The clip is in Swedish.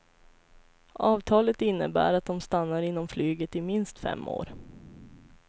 Avtalet innebär att de stannar inom flyget i minst fem år.